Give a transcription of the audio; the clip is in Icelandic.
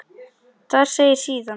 Þar segir síðan